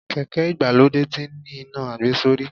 Kèké ìgbàlódé tí ń ní iná àgbesórí.